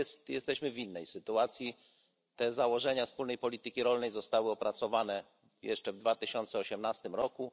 Jesteśmy w innej sytuacji, te założenia wspólnej polityki rolnej zostały opracowane jeszcze w 2018 roku.